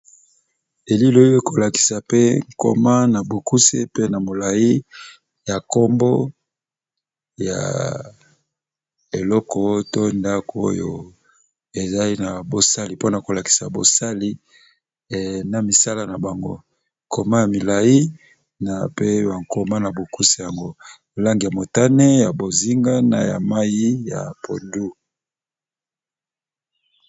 eliloyo kolakisa pe nkoma na bokusi pe na molai ya nkombo ya eloko to ndako oyo ezai na bosali mpona kolakisa bosali na misala na bango nkoma ya milai na pe ya nkoma na bokusi yango molange ya motane ya bozinga na ya mai ya podu